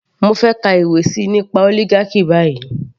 Mo fẹ́ kà ìwé síi nípa oligarchy báyìí.